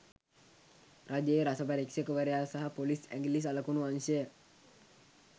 රජයේ රස පරීක්‍ෂකවරයා සහ පොලිස්‌ ඇඟිලි සලකුණු අංශය